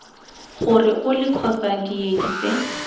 gore ole kgotsa diedi tse